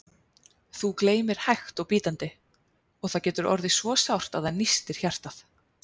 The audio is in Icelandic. Þú gleymir hægt og bítandi, og það getur orðið svo sárt að það nístir hjartað.